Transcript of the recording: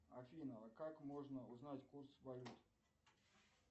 афина а как можно узнать курс валют